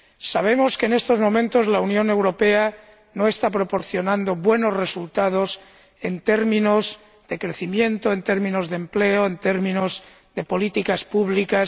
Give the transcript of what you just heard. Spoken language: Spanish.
Sabemos que, en estos momentos, la Unión Europea no está proporcionando a sus ciudadanos buenos resultados en términos de crecimiento, en términos de empleo, en términos de políticas públicas.